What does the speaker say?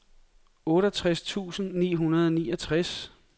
otteogtres tusind ni hundrede og niogtres